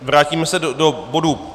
Vrátíme se do bodu